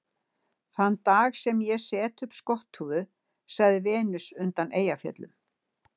Þann dag sem ég set upp skotthúfu, sagði Venus undan Eyjafjöllum